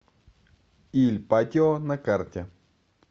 иль патио на карте